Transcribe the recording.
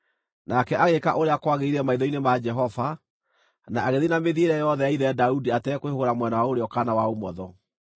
Nake agĩĩka ũrĩa kwagĩrĩire maitho-inĩ ma Jehova, na agĩthiĩ na mĩthiĩre yothe ya ithe Daudi atekwĩhũgũra mwena wa ũrĩo kana wa ũmotho.